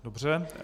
Dobře.